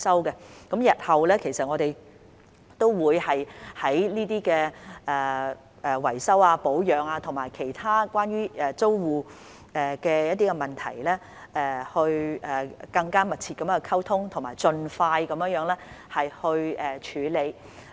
我們日後都會就維修保養和其他關於租戶的問題，與他們更加密切溝通，並盡快處理有關問題。